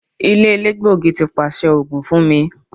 Ile elegbogi ti paṣẹ oogun fun mi